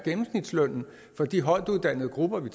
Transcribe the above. der grund